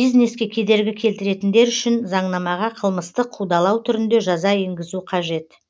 бизнеске кедергі келтіретіндер үшін заңнамаға қылмыстық қудалау түрінде жаза енгізу қажет